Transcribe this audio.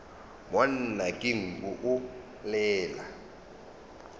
monna ke nku o llela